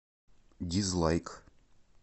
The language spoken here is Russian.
дизлайк